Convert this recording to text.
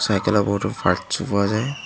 চাইকেলেৰ বহুতো ফাৰ্তচো পোৱা যায়।